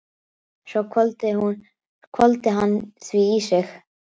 Svo hvolfdi hann því í sig.